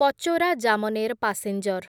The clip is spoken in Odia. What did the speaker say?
ପଚୋରା ଜାମନେର ପାସେଞ୍ଜର୍